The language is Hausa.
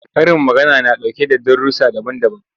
Karin magana na ɗauke da darussa daban-daban.